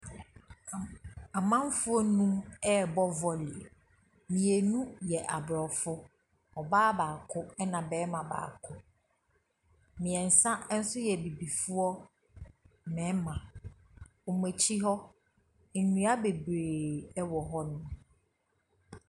Amamfoɔ nnum ɛrebɔ volley, mmienu yɛ aborɔfo, ɔbaa baako na barima baako. Mmiɛnsa nso yɛ abibifoɔ mmarima. Wɔn akyi hɔ, nnua bebree wɔ hɔnom.